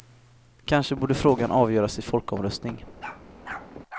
Kanske borde frågan avgöras i folkomröstning.